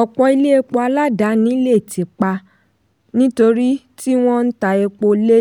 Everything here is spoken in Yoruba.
ọ̀pọ̀ ilé epo aládàáni lè tì pa nítorí tí wọ́n n ta epo lé